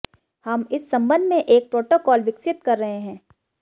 हम इस संबंध में एक प्रोटोकॉल विकसित कर रहे हैं